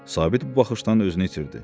Sabit bu baxışdan özünü itirdi.